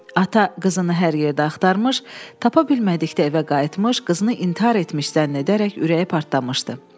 Ata qızını hər yerdə axtırmış, tapa bilmədikdə evə qayıtmış, qızını intihar etmiş zənn edərək ürəyi partlamışdı.